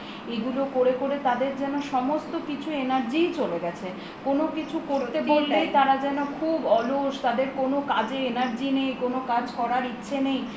এগুলো করে করে তাদের যেন সমস্ত energy ই চলে গেছে কোনো কিছু করতে বললেই তারা যেন খুব অলসতাদের কোনো কাজে energy নেই কোনো কাজ করার ইচ্ছা নেই